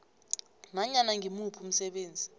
nanyana ngimuphi umsebenzi